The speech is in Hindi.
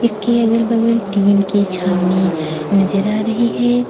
इसके अगल-बगल टीन की छावनी नज़र आ रही है।